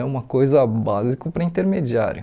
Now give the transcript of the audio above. É uma coisa básico para intermediário.